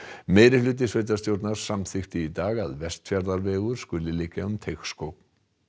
meirihluti sveitarstjórnar samþykkti í dag að Vestfjarðavegur skuli liggja um Teigsskóg